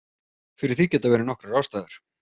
Fyrir því geta verið nokkrar ástæður.